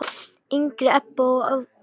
yngri Ebba og Ástþór.